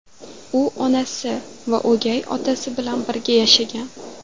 U onasi va o‘gay otasi bilan birga yashagan.